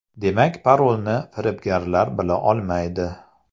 Demak parolni firibgarlar bila olmaydi.